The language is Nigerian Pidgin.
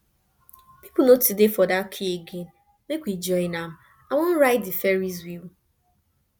people no too dey for that queue again make we join am i wan ride the ferrys wheel